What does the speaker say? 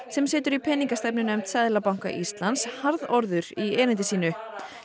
sem situr í peningastefnunefnd Seðlabanka Íslands harðorður í erindi sínu